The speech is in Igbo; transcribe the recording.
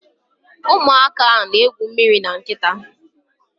Ụmụaka na-egwu mmiri na nkịta